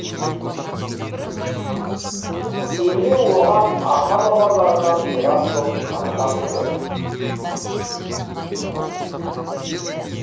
кеме оған ата бабаларынан мирас боп қалған еді